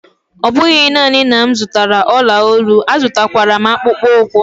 Ọ bụghị nanị na m zụtara olu olu, azụrụkwara m akpụkpọ ụkwụ.